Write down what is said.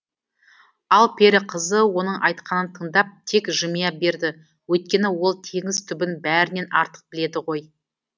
ал пері қызы оның айтқанын тыңдап тек жымия берді өйткені ол теңіз түбін бәрінен артық біледі ғой